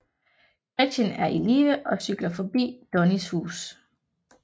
Gretchen er i live og cykler forbi Donnies hus